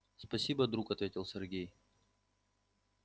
спасибо друг ответил сергей